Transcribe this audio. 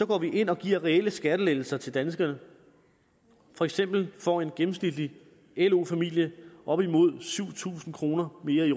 går vi ind og giver reelle skattelettelser til danskerne for eksempel får en gennemsnitlig lo familie op imod syv tusind kroner mere i